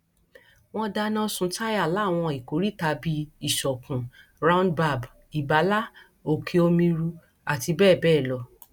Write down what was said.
wọn dáná sun táyà láwọn ìkóríta bíi ìsọkun roundbab ibala òkè omiru àti bẹẹ bẹẹ lọ